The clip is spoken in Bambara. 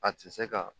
A tɛ se ka